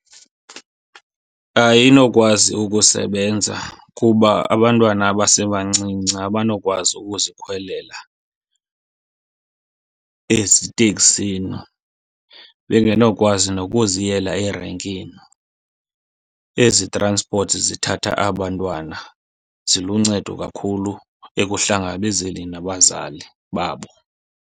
Ayinokwazi ukusebenza kuba abantwana abasebancinci abanokwazi ukuzikhwelela eziteksini, bengenokwazi nokuziyela erenkini. Ezi transport zithatha aba 'ntwana ziluncedo kakhulu ekuhlangabezeni nabazali babo.